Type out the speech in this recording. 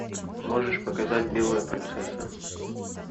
можешь показать белая принцесса